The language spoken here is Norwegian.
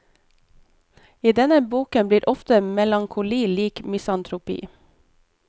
I denne boken blir ofte melankoli lik misantropi.